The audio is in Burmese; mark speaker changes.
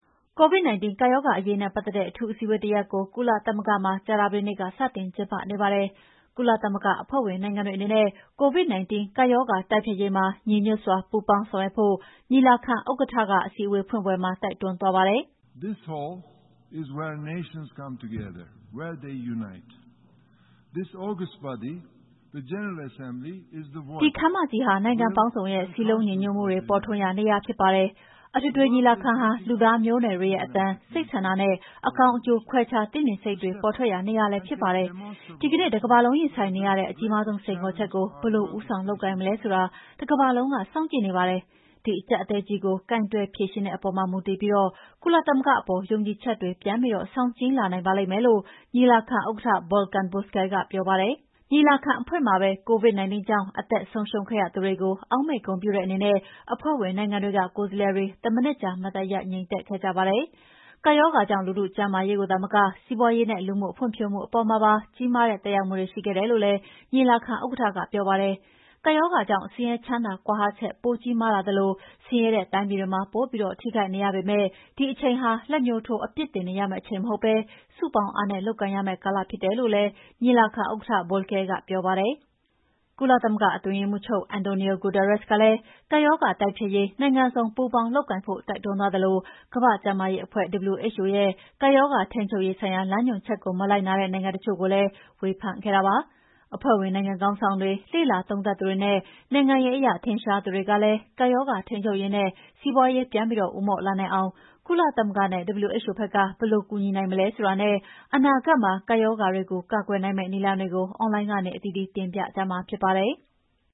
Speaker 1: COVID-19 ကပ်ရောဂါအရေးနဲ့ ပတ်သက်တဲ့ အထူးအစည်းအဝေးတရပ်ကို ကုလသမဂ္ဂမှာ ကြာသပတေးနေ့က စတင်ကျင်းပါနေပါတယ်။ ကုလသမဂ္ဂအဖွဲ့ဝင်နိုင်ငံတွေအနေနဲ့ COVID-19 ကပ်ရောဂါတိုက်ဖျက်ရေးမှာ ညီညွှတ်စွာ ပူးပေါင်းဆောင်ရွက်ဖို့ ညီလာခံဥက္ကဋ္ဌက အစည်းအဝေးဖွင့်ပွဲမှာ တိုက်တွန်းသွားပါတ
Speaker 2: ယ်။ "ဒီခန်းမ
Speaker 1: ကြီးဟာ နိုင်ငံပေါင်းစုံရဲ့ စည်းလုံးညီညွှတ်မှုပေါ်ထွန်းရာနေရာဖြစ်ပါတယ်။ အထွေထွေညီလာခံဟာ လူသားမျိုးနွယ်တွေရဲ့ အသံ၊ စိတ်ဆန္ဒနဲ့ အကောင်းအကျိုး ခွဲခြားသိမြင်စိတ်တွေပေါ်ထွက်ရာနေရာလည်းဖြစ်ပါတယ်။ ဒီကနေ့ တကမ္ဘာလုံးရင်ဆိုင်နေရတဲ့ အကြီးမားဆုံးစိန်ခေါ်ချက်ကို ဘယ်လိုဦးဆောင်လုပ်ကိုင်မလဲဆိုတာ တကမ္ဘာလုံးကစောင့်ကြည့်နေပါတယ်။ ဒီအကြပ်အတည်းကြီးကို ကိုင်တယ်ဖြေရှင်းတဲ့အပေါ်မူတည်ပြီး ကုလသမဂ္ဂအပေါ် ယုံကြည်ချက်တွေပြန်ပြီးဆောင်ကြည်းလာနိုင်ပါလိမ့်မယ်။" လု့ိ ညီလာခံဥက္ကဋ္ဌ Volkan Bozkir ကပြောပါတယ်။ ညီလာခံအဖွင့်မှာပဲ COVID-19 ကြောင့် အသက်ဆုံးရှုံးခဲ့ရသူတွေကိုအောက်မေ့ဂုဏ်ပြုတဲ့အနေနဲ့ အဖွဲ့ဝင်နိုင်ငံတွေက ကိုယ်စားလှယ်တွေ တမိနစ်ကြာ မတ်တပ်ရပ် ငြိမ်သက်ခဲ့ကြပါတယ်။ ကပ်ရောဂါကြောင့် လူထုကျန်းမာရေးကိုသာမက စီးပွါးရေးနဲ့လူမှုဖွံ့ဖြိုးမှုအပေါ်မှာပါ ကြီးမားတဲ့ သက်ရောက်မှုတွေ ရှိခဲ့တယ်လို့လည်း ညီလာခံဥက္ကဋ္ဌကပြောပါတယ်။ ကပ်ရောဂါကြောင့် ဆင်းရဲချမ်းသာ ကွာဟချက်ပိုကြီးမားလာသလို ဆင်းရဲတဲ့တိုင်းပြည်တွေမှာ ပိုပြီးထိခိုက်နေရပေမယ့် ဒီအချိန်ဟာ လက်ညှိုးထိုးအပြစ်တင်နေရမယ့်အချိန်မဟုတ်ဘဲ စုပေါင်းအားနဲ့ လုပ်ကိုင်ရမယ့်ကာလဖြစ်တယ်လို့လည်း ညီလာခံဥက္ကဋ္ဌ Bozkir ကပြောပါတယ်။ ကုလအတွင်းရေးမှူးချုပ် Antonio Guterres ကလည်း ကပ်ရောဂါတိုက်ဖျက်ရေး နိုင်ငံစုံ ပူးပေါင်းလုပ်ကိုင်ဖို့တိုက်တွန်းသွားသလို ကမ္ဘာ့ကျန်းမာရေးအဖွဲ့ (WHO) ရဲ့ ကပ်ရောဂါထိန်းချုပ်ရေးဆိုင်ရာ လမ်းညွှန်ချက်ကို မလိုက်နာတဲ့နိုင်ငံတချို့ကိုလည်း ဝေဖန်ခဲ့တာပါ။ အဖွဲ့ဝင်နိုင်ငံခေါင်းဆောင်တွေ၊ လေ့လာသုံးသပ်သူတွေနဲ့ နိုင်ငံရေးအရထင်ရှားသူတွေကလည်း ကပ်ရောဂါထိန်းချုပ်ရေးနဲ့ စီးပွါးရေးပြန်ဦးမော့လာနိုင်အောင် ကုလသမဂ္ဂနဲ့ WHO ဘက်က ဘယ်လိုကူညီနိုင်မလဲဆိုတာနဲ့ အနာဂတ်မှာ ကပ်ရောဂါတွေကို ကာကွယ်နိုင်မယ့်နည်းလမ်းတွေကို အွန်လိုင်းကနေ အသီးသီးတင်ပြကြမှာဖြစ်ပါတယ်။